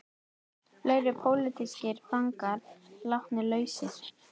Fleiri pólitískir fangar látnir lausir